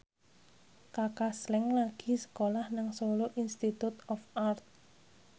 Kaka Slank lagi sekolah nang Solo Institute of Art